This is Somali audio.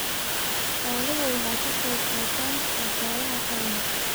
Xooluhu waxay ka qayb qaataan dhaqaalaha qaranka.